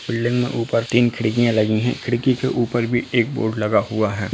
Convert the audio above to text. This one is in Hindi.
बिल्डिंग में ऊपर तीन खिड़किया लगी हैं खिड़की के ऊपर भी एक बोर्ड लगा हुआ है।